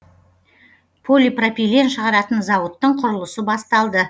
полипропилен шығаратын зауыттың құрылысы басталды